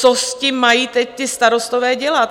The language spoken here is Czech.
Co s tím mají teď ti starostové dělat?